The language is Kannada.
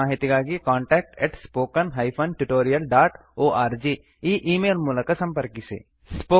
ಹೆಚ್ಚಿನ ಮಾಹಿತಿಗಾಗಿ contactspoken tutorialorg ಈ ಈ ಮೇಲ್ ಮೂಲಕ ಸಂಪರ್ಕಿಸಿ